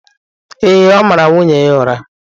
Ee, ọ mara nwunye ya ụra.